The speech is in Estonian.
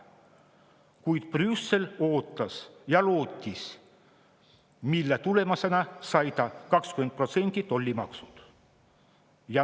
Kuid Brüssel ootas ja lootis, mille tõttu sai ta 20% tollimaksud.